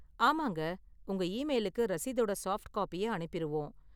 ஆமாங்க, உங்க ஈமெயிலுக்கு ரசீதோட சாஃப்ட் காப்பிய அனுப்பிருவோம்.